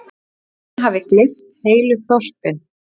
Jörðin hafi gleypt heilu þorpin.